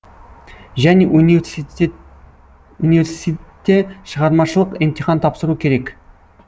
және университте шығармашылық емтихан тапсыру керек